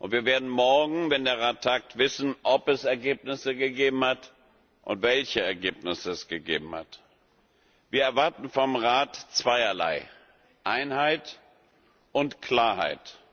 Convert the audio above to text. Wir werden morgen, wenn der Rat tagt, wissen, ob es Ergebnisse gegeben hat und welche Ergebnisse es gegeben hat. Wir erwarten vom Rat zweierlei Einheit und Klarheit.